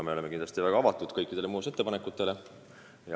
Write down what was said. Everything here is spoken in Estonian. Me oleme kindlasti väga avatud kõikidele muudatusettepanekutele.